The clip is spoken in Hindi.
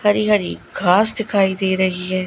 हरी हरी घास दिखाई दे रही है।